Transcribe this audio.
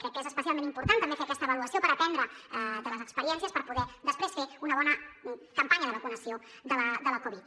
crec que és especialment important també fer aquesta avaluació per aprendre de les experiències per poder després fer una bona campanya de vacunació de la covid